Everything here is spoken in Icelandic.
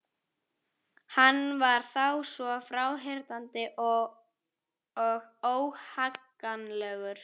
Hann var þá svo fráhrindandi og óhagganlegur.